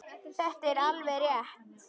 Þetta er alveg rétt.